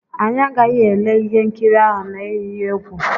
Anyị agaghị ele ihe nkiri ahụ na-eyi egwu.